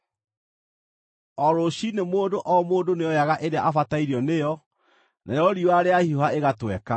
O rũciinĩ mũndũ o mũndũ nĩoyaga ĩrĩa abatairio nĩyo, narĩo riũa rĩahiũha ĩgatweka.